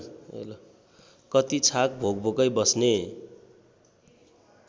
कति छाक भोकभोकै बस्ने